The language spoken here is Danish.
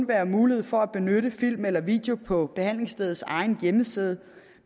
være mulighed for at benytte film eller video på behandlingsstedets egen hjemmeside